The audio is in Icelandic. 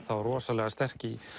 rosalega sterk í